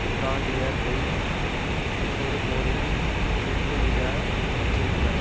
இப்பிராந்தியத்தை இன்னொரு போரில் இழுத்துவிட அச்சுறுத்தின